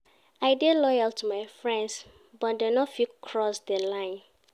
I dey loyal to my friends but dem no fitt cross di line.